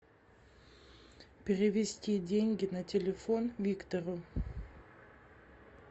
перевести деньги на телефон виктору